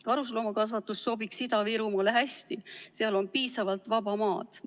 Karusloomakasvatus sobiks Ida-Virumaale hästi, seal on piisavalt vaba maad.